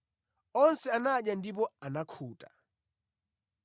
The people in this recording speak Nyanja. Onse anadya ndipo anakhuta,